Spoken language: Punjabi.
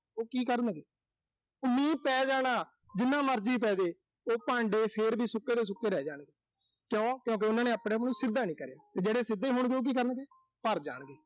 ਉਹ ਕੀ ਕਰਨਗੇ। ਉਹ ਮੀਂਹ ਪੈ ਜਾਣਾ, ਜਿੰਨਾ ਮਰਜ਼ੀ ਪੈਜੇ। ਉਹ ਭਾਂਡੇ ਫਿਰ ਵੀ ਸੁੱਕੇ ਦੇ ਸੁੱਕੇ ਰਹਿ ਜਾਣਗੇ। ਕਿਉਂ, ਕਿਊਂ ਕਿ ਉਨ੍ਹਾਂ ਨੇ ਆਪਣਾ ਮੂੰਹ ਸਿੱਧਾ ਨੀਂ ਕਰਿਆ। ਜਿਹੜੇ ਸਿੱਧੇ ਹੋਣਗੇ, ਉਹ ਕੀ ਕਰਨਗੇ, ਭਰ ਜਾਣਗੇ।